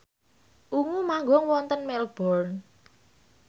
Ungu manggung wonten Melbourne